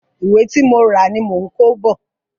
Ìwé tí mo rà ni mò ń kó bọ̀.